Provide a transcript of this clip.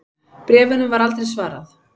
Bréfunum var aldrei svarað.